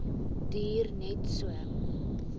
duur net so